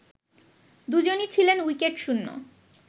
দুজনই ছিলেন উইকেটশূন্য